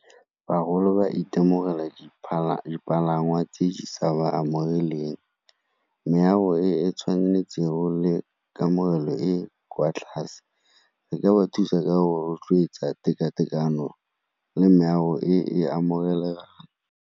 Bagolo ba itemogela dipalangwa tse di sa ba amogeleng, meago e e tshwanetsego le kamogelo e e kwa tlase. Re ka ba thusa ka o rotloetsa tekatekano le meago e e amogelegang.